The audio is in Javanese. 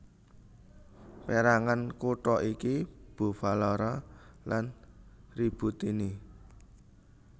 Pérangan kutha iki Bufalara lan Ributtini